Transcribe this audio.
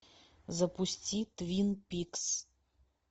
запусти твин пикс